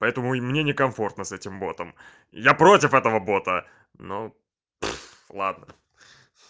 поэтому и мне некомфортно с этим ботом я против этого бота ну ладно